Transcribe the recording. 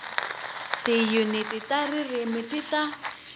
tiyuniti ta ririmi ti ta